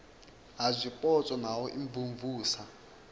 ha zwipotso na u imvumvusa